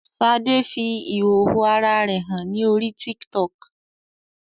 Ṣadé fi ìhòhò ara rẹ hàn ní orí TikTok